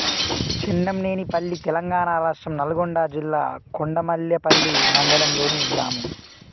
చెన్నంనేనిపల్లి తెలంగాణ రాష్ట్రం నల్గొండ జిల్లా కొండమల్లేపల్లి మండలంలోని గ్రామం